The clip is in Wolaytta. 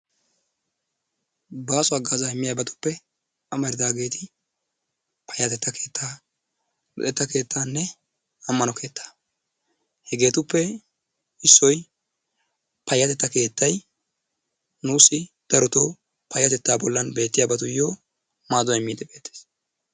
baaso hagaazaa immiyaagetuppe amaridaageti payattettaa keettaa luxetta keettanne amano keettaa. Hegetuppe issoy payattettay nuusi darotoo payattetta bollaan bettiyabatuyo maaduwaa immidi takkiis.